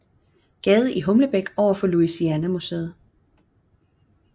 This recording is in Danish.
Gade i Humlebæk overfor Louisiana museet